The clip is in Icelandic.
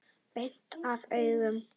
Beint af augum.